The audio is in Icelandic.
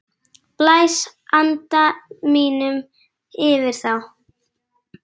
Blæs anda mínum yfir þá.